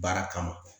Baara kama